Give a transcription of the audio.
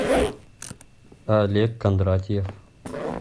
олег кондратьев